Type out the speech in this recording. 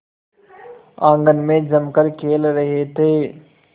आंगन में जमकर खेल रहे थे